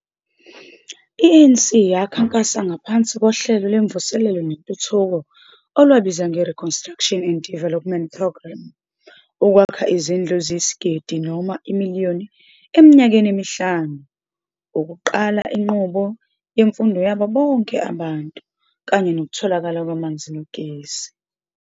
I-ANC yakhankasa ngaphansi kohlelo lwemvuselelo nentuthuko olwabizwa nge-Reconstruction and Development Programme ukwakha izindlu eziyisigidi noma imiliyoni eminyakeni emihlanu, ukuqala inqubo yemfundo yabo bonke abantu, kanye nokutholakala kwamanzi nogesi.